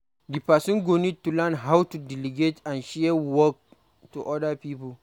Di person go need to learn how to delegate and share work to oda pipo